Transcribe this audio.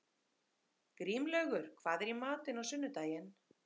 Grímlaugur, hvað er í matinn á sunnudaginn?